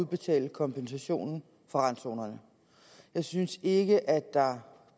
betale kompensationen for randzonerne jeg synes ikke at der